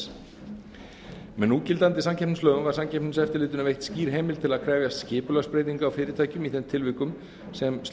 þess með núgildandi samkeppnislögum var samkeppniseftirlitinu veitt skýr heimild til að krefjast skipulagsbreytinga á fyrirtækjum í þeim tilvikum sem slík